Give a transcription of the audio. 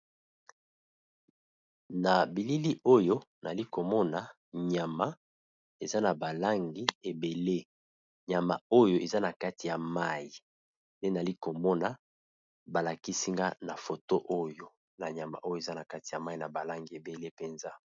Na bilili Oyo Nayali komona nyama Ezra naba langi ebele Ezra na kati ya mayi